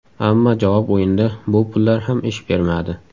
Ammo javob o‘yinida bu pullar ham ish bermadi.